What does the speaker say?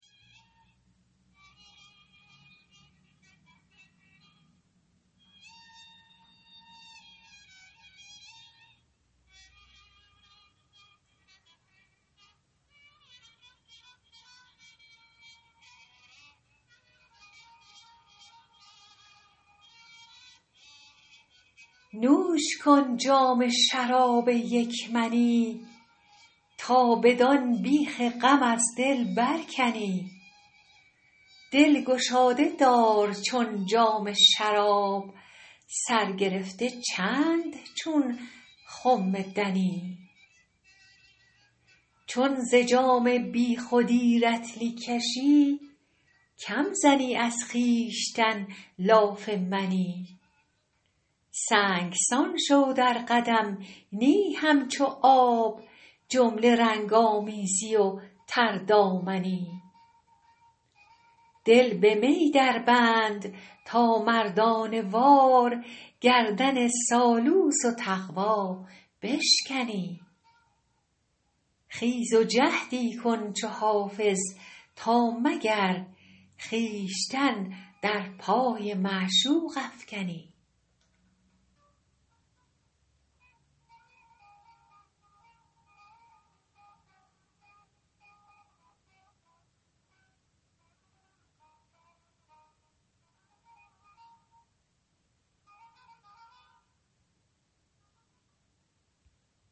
نوش کن جام شراب یک منی تا بدان بیخ غم از دل برکنی دل گشاده دار چون جام شراب سر گرفته چند چون خم دنی چون ز جام بی خودی رطلی کشی کم زنی از خویشتن لاف منی سنگسان شو در قدم نی همچو آب جمله رنگ آمیزی و تردامنی دل به می دربند تا مردانه وار گردن سالوس و تقوا بشکنی خیز و جهدی کن چو حافظ تا مگر خویشتن در پای معشوق افکنی